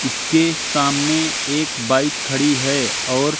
इसके सामने एक बाइक खड़ी है और--